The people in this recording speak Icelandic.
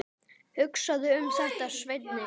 Hugsaðu um þetta, Svenni!